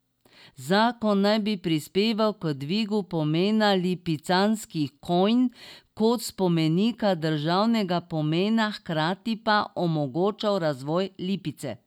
Zakon naj bi prispeval k dvigu pomena lipicanskih konj kot spomenika državnega pomena, hkrati pa omogočal razvoj Lipice.